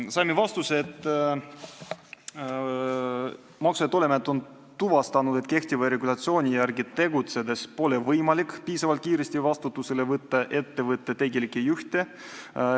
Saime vastuse, et Maksu- ja Tolliamet on tuvastanud, et kehtiva regulatsiooni järgi tegutsedes pole võimalik piisavalt kiiresti vastutusele võtta ettevõtte tegelikke juhte.